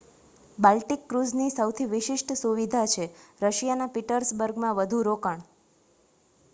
Baltic ક્રૂઝની સૌથી વિશિષ્ટ સુવિધા છે રશિયાના પીટર્સબર્ગમાં વધુ રોકાણ